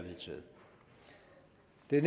det